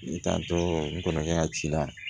Ne tan tɔ n kɔrɔkɛ ci la